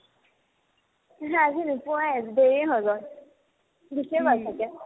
পিছে আজি নোপোৱাই দেৰিয়ে হৈ গ'ল গুচিয়ে গ'ল ছাগে